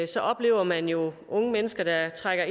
så oplever man jo unge mennesker der trækker